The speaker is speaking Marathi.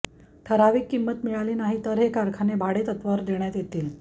ठराविक किंमत मिळाली नाही तर हे कारखाने भाडेतत्त्वावर देण्यात येतील